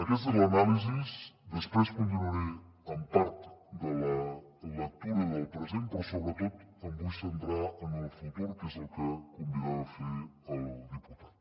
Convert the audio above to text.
aquesta és l’anàlisi després continuaré amb part de la lectura del present però sobretot em vull centrar en el futur que és el que convidava a fer al diputat